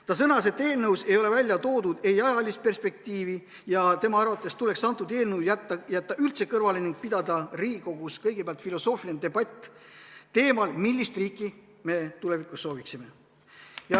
Ta sõnas, et eelnõus ei ole välja toodud ajalist perspektiivi ja tema arvates tuleks eelnõu jätta üldse kõrvale ning pidada Riigikogus kõigepealt filosoofiline debatt teemal, millist riiki me tulevikus sooviksime.